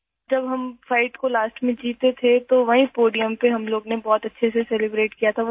جب ہم آخر میں فائٹ جیت گئے تو وہیں پوڈیم پر ، ہم لوگوں نے بہت اچھی طرح جشن منایا تھا